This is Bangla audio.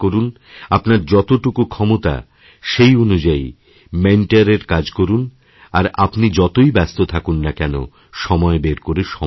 আপনার যতটুকু ক্ষমতা সেইঅনুযায়ী মেণ্টরের কাজ করুন আর আপনি যতই ব্যস্ত থাকুন না কেন সময় বের করে সময় দিন